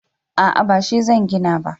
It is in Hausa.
a'a ba shi zan gina ba